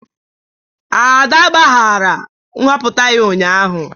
Ada agbaghara nhọpụta ya ụnyahụ